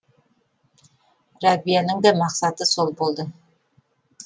рәбияның да мақсаты сол болды